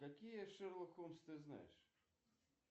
какие шерлок холмс ты знаешь